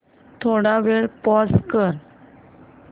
थोडा वेळ पॉझ कर